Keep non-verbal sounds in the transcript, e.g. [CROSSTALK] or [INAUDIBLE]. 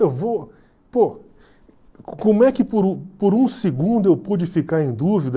Eu vou... Pô, como é que por [UNINTELLIGIBLE] por um segundo eu pude ficar em dúvida...